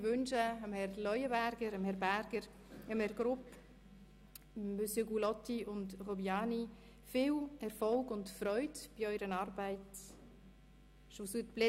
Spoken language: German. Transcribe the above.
Ich wünsche Ihnen, Herr Leuenberger, Herr Berger und Herr Grupp, viel Erfolg und Freude bei Ihrer Arbeit im Grossen Rat.